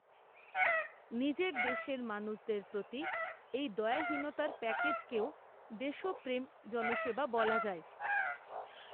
নিজের দেশের মানুষদের প্রতি এই দায়হীনতার প্যাকেজকেও দেশপ্রেম জনসেবা বলা যায়